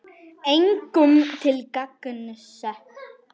Engum til gagns.